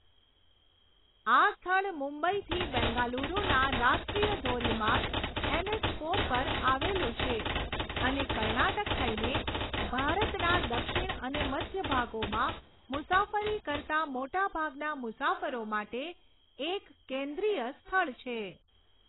આ સ્થળ મુંબઈથી બેંગાલુરુના રાષ્ટ્રીય ધોરીમાર્ગ એનએચ ફોર પર આવેલું છે અને કર્ણાટક થઈને ભારતના દક્ષિણ અને મધ્ય ભાગોમાં મુસાફરી કરતા મોટાભાગના મુસાફરો માટે એક કેન્દ્રીય સ્થળ છે.